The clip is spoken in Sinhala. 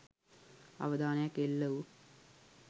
අවධානයක් එල්ල වූ